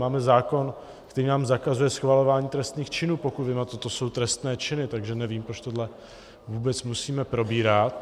Máme zákon, který nám zakazuje schvalování trestných činů, pokud vím, a toto jsou trestné činy, takže nevím, proč tohle vůbec musíme probírat.